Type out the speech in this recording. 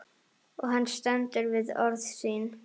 Og hann stendur við orð sín.